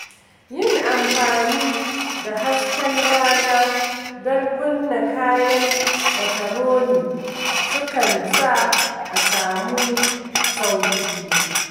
Yin amfani da hasken rana don kunna kayan lataroni sukan sa a samu sauƙi.